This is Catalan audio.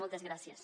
moltes gràcies